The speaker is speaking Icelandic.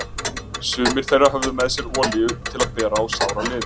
Sumir þeirra höfðu með sér olíu til að bera á sára liði.